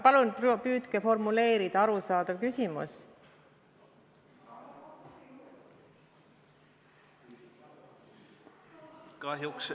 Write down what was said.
Palun püüdke formuleerida arusaadav küsimus.